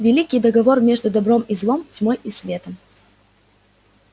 великий договор между добром и злом тьмой и светом